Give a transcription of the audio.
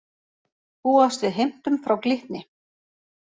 Búast við heimtum frá Glitni